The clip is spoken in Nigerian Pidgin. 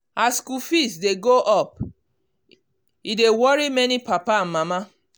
as school fees dey go up e dey worry many papa and mama.